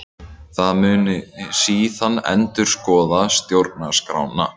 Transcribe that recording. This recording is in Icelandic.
Það muni síðan endurskoða stjórnarskrána